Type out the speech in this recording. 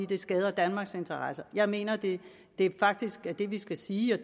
det skader danmarks interesser jeg mener at det vi faktisk skal sige og